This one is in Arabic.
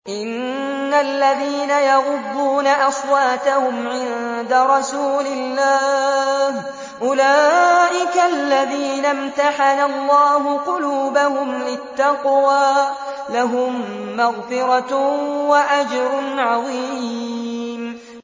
إِنَّ الَّذِينَ يَغُضُّونَ أَصْوَاتَهُمْ عِندَ رَسُولِ اللَّهِ أُولَٰئِكَ الَّذِينَ امْتَحَنَ اللَّهُ قُلُوبَهُمْ لِلتَّقْوَىٰ ۚ لَهُم مَّغْفِرَةٌ وَأَجْرٌ عَظِيمٌ